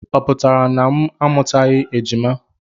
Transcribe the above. Ọ pụtara na m amụtaghị ejima?